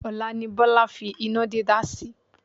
Ọ̀la ni Bọ́lá fi iná dídá sí.